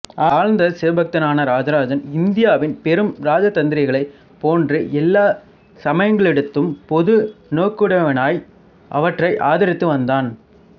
ஆழ்ந்த சிவபக்தனான இராஜராஜன் இந்தியாவின் பெரும் இராஜதந்திரிகளைப் போன்று எல்லா சமயங்களிடத்தும் பொது நோக்குடையவனாய் அவற்றை ஆதரித்து வந்தான்